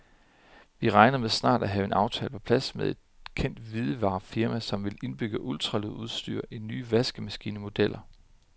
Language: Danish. Vi regner med snart at have en aftale på plads med et kendt hvidevarefirma, som vil indbygge ultralydsudstyr i nye vaskemaskinemodeller.